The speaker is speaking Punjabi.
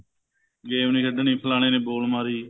game ਨੀ ਖੇਡਣੀ ਫਲਾਣੇ ਨੇ ball ਮਾਰੀ